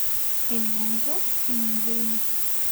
ты мне найдешь фильм грим